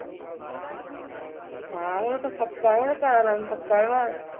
ਹਾਂ ਉਹ ਤੇ ਪੱਕਾ ਹੈ ਉਹਦਾ ਘਰਵਾਲਾ ਵੀ ਪੱਕਾ ਹੈ ਬਾਹਰ